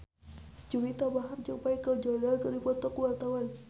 Juwita Bahar jeung Michael Jordan keur dipoto ku wartawan